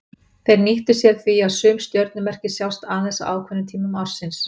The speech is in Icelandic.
Þeir nýttu sér því að sum stjörnumerki sjást aðeins á ákveðnum tímum ársins.